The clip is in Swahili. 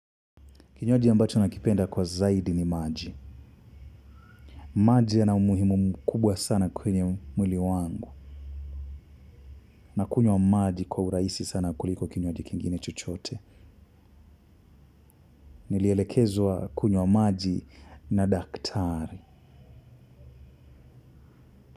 Kinywaji ambacho nakipenda kwa zaidi ni maji. Maji ya na umuhimu mkubwa sana kwenye mwili wangu. Na kunywa maji kwa urahisi sana kuliko kinywaji kingine chochote. Nilielekezwa kunywa maji na daktari.